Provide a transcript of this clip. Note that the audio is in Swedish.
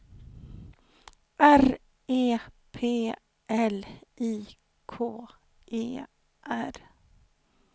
R E P L I K E R